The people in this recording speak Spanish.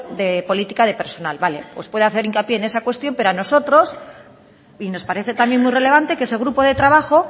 de política de personal vale pues puede hacer hincapié en esa cuestión pero a nosotros y nos parece también muy relevante que ese grupo de trabajo